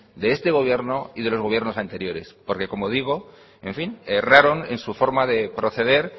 de este gobierno y de los gobierno anteriores porque como digo en fin erraron en su forma de proceder